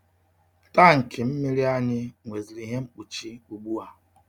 Tankị mmiri anyị nweziri ihe mkpuchi ugbua.